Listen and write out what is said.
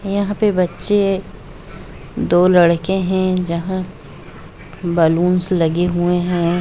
यहा बच्चे दो लड़के है जहां बैलून्स लगे हुए है।